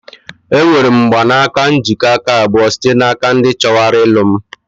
Enwere m mgbanaka njikọ aka abụọ site n'aka ndị chọwara ilu m.